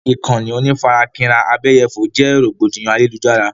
Ìkànnì onífarakínra abẹ́yẹfò jẹ́ rògbòdìyàn ayélujára.